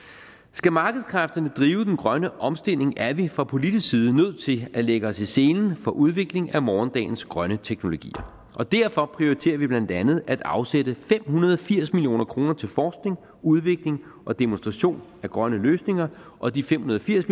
skal markedskræfterne drive den grønne omstilling er vi fra politisk side nødt til at lægge os i selen for udvikling af morgendagens grønne teknologier og derfor prioriterer vi blandt andet at afsætte fem hundrede og firs million kroner til forskning udvikling og demonstration af grønne løsninger og de fem hundrede og firs